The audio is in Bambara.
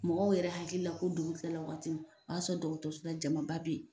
Mɔgɔw yɛrɛ hakili la ko dugukila la waati o b'a sɔrɔ dɔgɔtɔrɔso la jama bɛ yen.